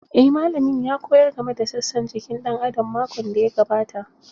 Eh malamin ya koyar game da sassan jiki ɗan adam makon da ya gabata